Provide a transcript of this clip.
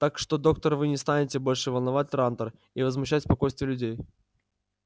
так что доктор вы не станете больше волновать трантор и возмущать спокойствие людей